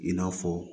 I n'a fɔ